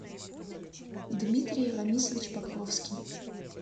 дмитрий рамисович покровский